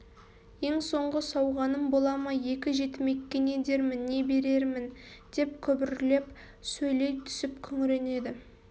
ең соңғы сауғаным бола ма екі жетімекке не дермін не берермін деп күбірлеп сөйлей түсіп күңіренеді